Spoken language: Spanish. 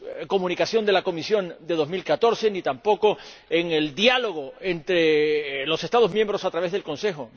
Comunicación de la Comisión de 2014, ni tampoco en el diálogo entre los Estados miembros a través del Consejo.